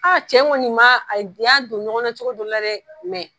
cɛ ŋɔni ma, a di ya don ɲɔgɔnna cogo dɔ la rɛ